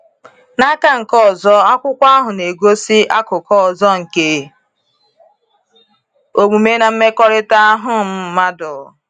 N’aka nke ọzọ, akwụkwọ ahụ na-egosi akụkụ ọzọ nke omume na mmekọrịta um mmadụ.